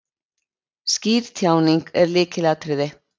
Skýr tjáning er lykilatriði.